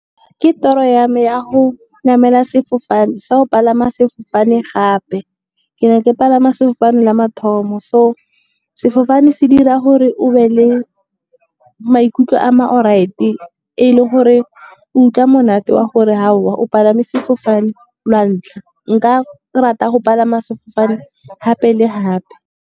Ke toro ya me ya go palama sefofane gape. Ke ne ke palama sefofane la mathomo so, sefofane se dira gore o be le maikutlo a ma alright-e. E le gore o utlwa monate wa gore aowa, o palame sefofane lwa ntlha, nka rata go palama sefofane gape le gape.